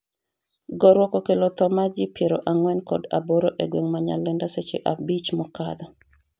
gorruok okello tho mar ji piero ang'wen kod aboro e gweng' ma Nyalenda seche abich mokadho